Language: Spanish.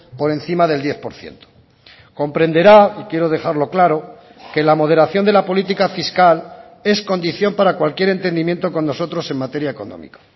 por encima del diez por ciento comprenderá y quiero dejarlo claro que la moderación de la política fiscal es condición para cualquier entendimiento con nosotros en materia económica